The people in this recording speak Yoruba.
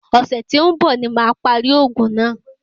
Ọ̀sẹ̀ tí ń bọ̀ ní màá parí òògùn náà.